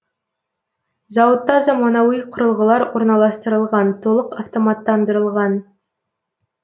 зауытта замануи құрылғылар орналастырылған толық автоматтандырылған